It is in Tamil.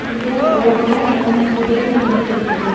இங்க ரோடுல மூணு குதிரை நின்னுட்டுருக்குது.